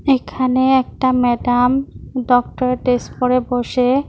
এখানে একটা madam dress পরে বসে--